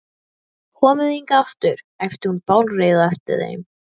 Komið þið hingað aftur! æpti hún bálreið á eftir þeim.